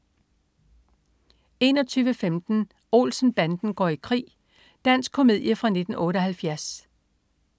21.15 Olsen-banden går i krig. Dansk komedie fra 1978